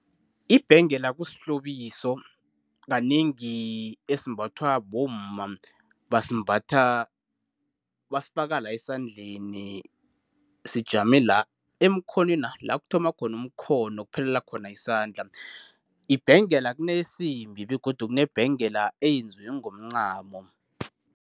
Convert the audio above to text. Ibhengela kusihlobiso, kanengi esimbathwa bomma. Basimbatha, basifaka la esandleni. Sijame la emkhonwena, la kuthoma khona umkhono kuphelela khona isandla. Ibhengela kuneyesimbi begodu kunebhengela eyenziwe ngomncamo.